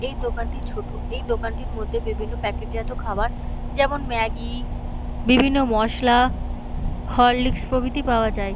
এই দোকানটি ছোটএই দোকানটির মধ্যে বিভিন্ন প্যাকেট জাতীয় খাবার যেমন ম্যাগি বিভিন্ন মসলা হরলিক্স প্রভৃতি পাওয়া যায়।